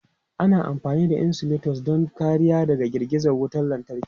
Ana amfani da insulators don kariya daga girgiza wutar lantarki.